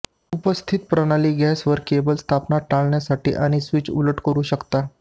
उपस्थित प्रणाली गॅस वर केबल स्थापना टाळण्यासाठी आणि स्विच उलट करू शकता